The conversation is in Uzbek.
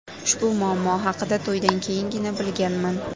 Ushbu muammo haqida to‘ydan keyingina bilganman.